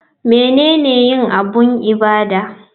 Menene yin abun ibada?